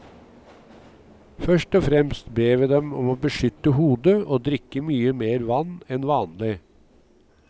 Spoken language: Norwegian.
Først og fremst ber vi dem om å beskytte hodet og drikke mye mer vann enn vanlig.